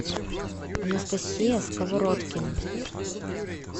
анастасия сковородкина